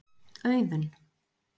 Auðunn